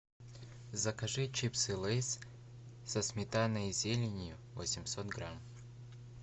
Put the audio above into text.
закажи чипсы лейс со сметаной и зеленью восемьсот грамм